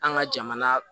An ka jamana